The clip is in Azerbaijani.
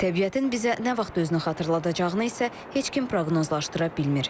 Təbiətin bizə nə vaxt özünü xatırladacağını isə heç kim proqnozlaşdıra bilmir.